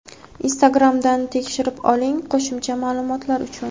Instagramdan tekshirib oling qo‘shimcha maʼlumotlar uchun.